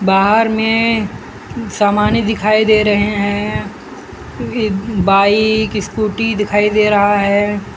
बाहर में समाने दिखाई दे रहे हैं ये बाइक स्कूटी दिखाई दे रहा है।